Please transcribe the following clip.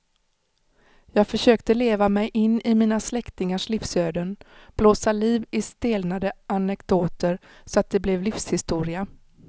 Jag försökte leva mig in i mina släktingars livsöden, blåsa liv i stelnade anekdoter så att det blev livshistoria.